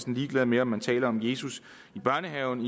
ligeglad med om man taler om jesus i børnehaven